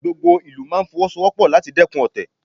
Gbogbo ìlú máa Fọwọ́sowọ́pọ̀ láti dẹ́kun ọ̀tẹ̀